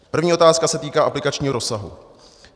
První otázka se týká aplikačního rozsahu.